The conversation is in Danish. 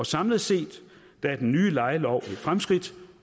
samlet set er den nye lejelov et fremskridt